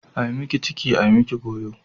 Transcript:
Ai miki ciki ai miki goyo.